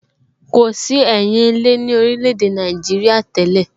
Kò sí ẹyin ilé ní orílè èdè Nàìjíríà tẹ́lẹ̀